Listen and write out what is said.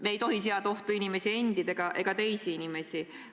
Me ei tohi seada ohtu inimesi endid ega teisi inimesi.